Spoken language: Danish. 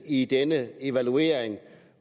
i denne evaluering